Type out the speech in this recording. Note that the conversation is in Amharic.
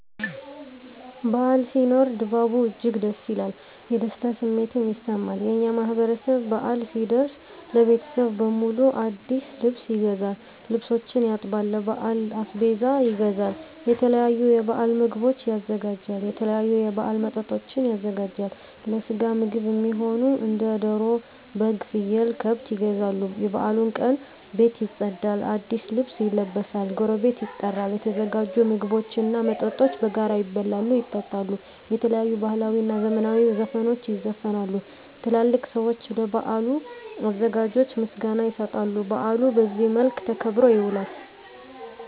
በዓል ሲኖር ድባቡ እጅግ ደስ ይላል። የደስታ ስሜትም ይሰማል። የእኛ ማህበረሰብ በአል ሲደርስ ለቤተሰብ በሙሉ አዲስ ልብስ ይገዛል፤ ልብሶችን ያጥባል፤ ለበዓል አስቤዛ ይገዛል፤ የተለያዩ የበዓል ምግቦችን ያዘጋጃል፤ የተለያዩ የበዓል መጠጦችን ያዘጋጃል፤ ለስጋ ምግብ እሚሆኑ እንደ ደሮ፤ በግ፤ ፍየል፤ ከብት ይገዛሉ፤ የበዓሉ ቀን ቤት ይፀዳል፤ አዲስ ልብስ ይለበሳል፤ ጎረቤት ይጠራል፤ የተዘጋጁ ምግቦች እና መጠጦች በጋራ ይበላሉ፤ ይጠጣሉ፤ የተለያዩ ባህላዊ እና ዘመናዊ ዘፈኖች ይዘፈናሉ፤ ትላልቅ ሰዊች ለበዓሉ አዘጋጆች ምስጋና ይሰጣሉ፤ በአሉ በዚህ መልክ ተከብሮ ይውላል።